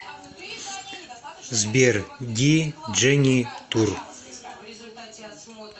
сбер ди джени тур